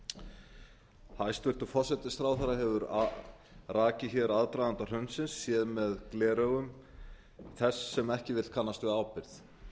bankanna hæstvirtur forsætisráðherra hefur rakið aðdraganda hrunsins séð með gleraugum þess sem ekki vill kannast við ábyrgð